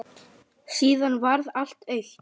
Síðan varð allt autt.